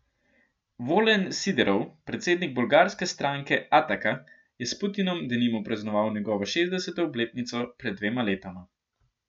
Volen Siderov, predsednik bolgarske stranke Ataka, je s Putinom denimo praznoval njegovo šestdeseto obletnico pred dvema letoma.